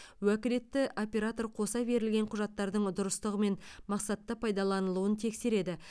уәкілетті оператор қоса берілген құжаттардың дұрыстығы мен мақсатты пайдаланылуын тексереді